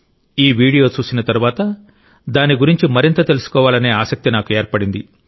ఈ వీడియో చూసిన తరువాత దాని గురించి మరింత తెలుసుకోవాలనే ఆసక్తి నాకు ఏర్పడింది